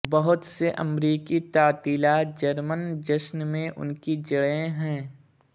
بہت سے امریکی تعطیلات جرمن جشن میں ان کی جڑیں ہیں